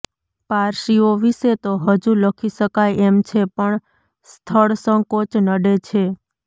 પારસીઓ વિશે તો હજુ લખી શકાય એમ છે પણ સ્થળસંકોચ નડે છે